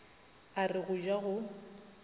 a re go ja go